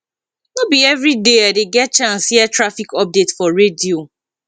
no be everyday i dey get chance hear traffic update for radio